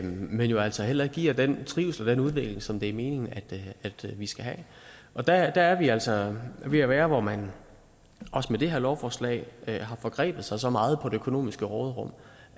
men altså heller ikke giver den trivsel og den udvikling som det er meningen vi skal have og der er vi altså ved at være der hvor man også med det her lovforslag har forgrebet sig så meget på det økonomiske råderum